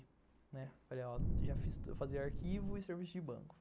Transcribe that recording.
Falei, ó, já fiz, eu fazia arquivo e serviço de banco.